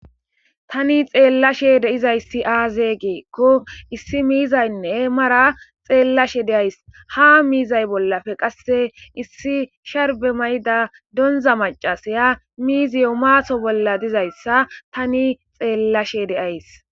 Tani xeellashe deizayssi aazee geekko issi miizaynne mara xeellashe deays ha miizay bollafe qasse issi sharbe mayda donza macasaya miiziyo maaso bolla dizayssa tani xeellashe deays